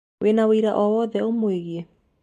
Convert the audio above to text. Wĩna ũira o wothe ũmwĩgĩĩ?